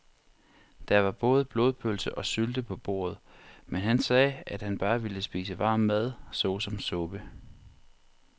Der var både blodpølse og sylte på bordet, men han sagde, at han bare ville spise varm mad såsom suppe.